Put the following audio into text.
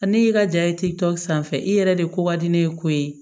A ne y'i ka ja ye sanfɛ i yɛrɛ de ko ka di ne ye ko ye